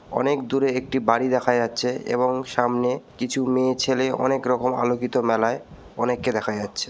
অনেক দূরে একটি বাড়ি দেখা যাচ্ছে এবং সামনে কিছু মেয়ে ছেলে অনেক রকম আলোকিত মেলায় অনেককে দেখা যাচ্ছে।